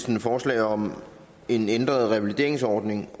et forslag om en ændret revalideringsordning